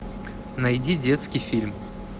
найди детский фильм